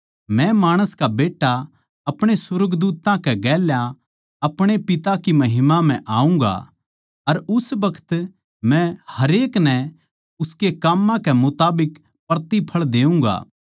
मै माणस का बेट्टा अपणे सुर्गदूत्तांकै गेल्या अपणे पिता की महिमा म्ह आऊँगा अर उस बखत मै हरेक नै उसकै काम्मां कै मुताबिक प्रतिफळ देऊँगा